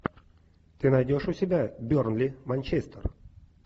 ты найдешь у себя бернли манчестер